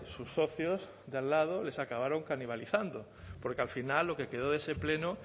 sus socios de al lado les acabaron canibalizando porque al final lo que quedó de ese pleno